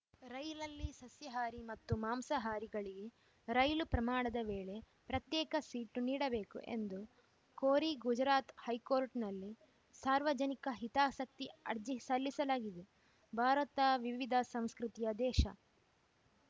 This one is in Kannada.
ರೈಲಲ್ಲಿ ಸಸ್ಯಾಹಾರಿ ಮತ್ತು ಮಾಂಸಾಹಾರಿಗಳಿಗೆ ರೈಲು ಪ್ರಮಾಣದ ವೇಳೆ ಪ್ರತ್ಯೇಕ ಸೀಟು ನೀಡಬೇಕು ಎಂದು ಕೋರಿ ಗುಜರಾತ್‌ ಹೈಕೋರ್ಟ್‌ನಲ್ಲಿ ಸಾರ್ವಜನಿಕ ಹಿತಾಸಕ್ತಿ ಅರ್ಜಿ ಸಲ್ಲಿಸಲಾಗಿದೆ ಭಾರತ ವಿವಿಧ ಸಂಸ್ಕೃತಿಯ ದೇಶ